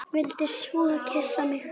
Vildi svo kyssa mig.